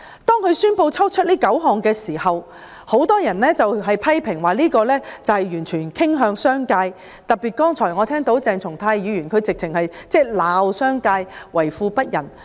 政府宣布剔除這9項罪類時，很多人批評政府此舉完全向商界傾斜，剛才鄭松泰議員更指罵商界為富不仁。